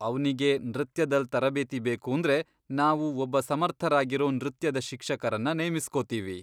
ಅವ್ನಿಗೆ ನೃತ್ಯದಲ್ ತರಬೇತಿ ಬೇಕೂಂದ್ರೆ ನಾವು ಒಬ್ಬ ಸಮರ್ಥರಾಗಿರೋ ನೃತ್ಯದ ಶಿಕ್ಷಕರನ್ನ ನೇಮಿಸ್ಕೋತೀವಿ.